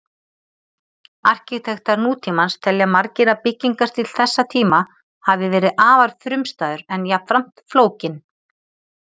Arkitektar nútímans telja margir að byggingarstíll þessa tíma hafi verið afar frumstæður en jafnframt flókinn.